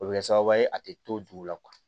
O bɛ kɛ sababu ye a tɛ to dugu la